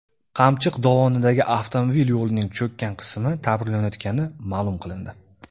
Qamchiq dovonidagi avtomobil yo‘lining cho‘kkan qismi ta’mirlanayotgani ma’lum qilindi.